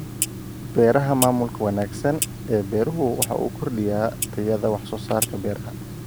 Beeraha Maamulka wanaagsan ee beeruhu waxa uu kordhiyaa tayada wax soo saarka beeraha.